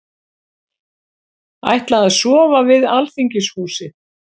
Ætla að sofa við Alþingishúsið